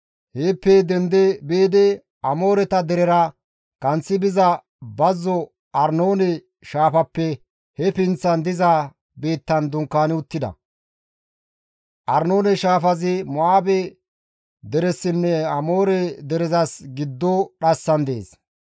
Heeppeka dendi biidi Amooreta derera kanththi biza bazzo Arnoone shaafappe he pinththan diza biittan dunkaani uttida; Arnoone shaafazi Mo7aabe deresinne Amoore derezas giddo dhassan dees.